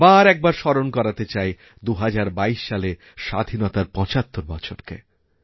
আবার একবার স্মরণ করাতে চাই ২০২২ সালে স্বাধীনতার ৭৫ বছরকে